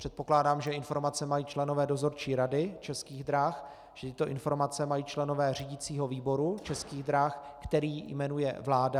Předpokládám, že informace mají členové dozorčí rady Českých drah, že tyto informace mají členové řídicího výboru Českých drah, který jmenuje vláda.